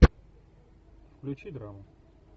включи драму